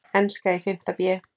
Enska í fimmta bé.